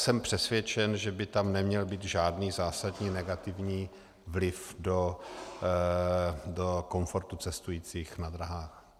Jsem přesvědčen, že by tam neměl být žádný zásadní negativní vliv do komfortu cestujících na dráhách.